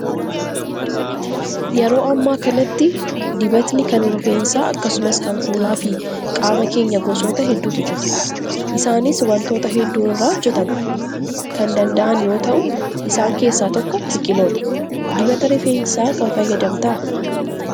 Yeroo ammaa kanatti dibatni kan rifeensaa akkasumas kan fuulaa fi qaama keenyaa gosoota hedduutu jiru. Isaanis wantoota hedduu irraa hojjatamuu kan danda'an yoo ta'u, isaan keessa tokko biqiloota. Dibata rifeensaa kam fayyadamtaa?